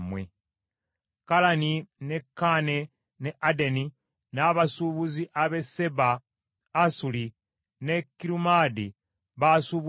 “ ‘Kalani, ne Kaane ne Adeni n’abasuubuzi ab’e Seeba, Asuli, ne Kirumaadi baasuubulanga naawe.